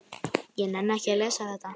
Jón fékk strax áhuga á málinu.